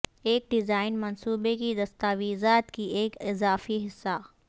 ایک ڈیزائن منصوبے کی دستاویزات کی ایک اضافی حصہ